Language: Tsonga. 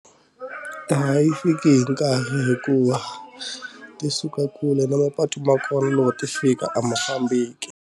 Laha yi fiki hi nkarhi hikuva ti suka kule na mapatu ma kona loko ti fika a ma fambeki.